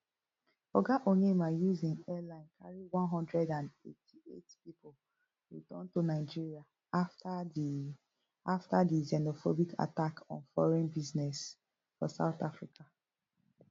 oga onyeama use im airline carri one hundred and eighty-eight pipo return to nigeria afta di afta di xenophobic attack on foreign business for south africa